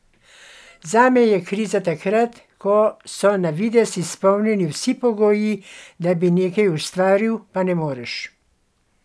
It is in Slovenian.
Zame je kriza takrat, ko so na videz izpolnjeni vsi pogoji, da bi nekaj ustvaril, pa ne moreš.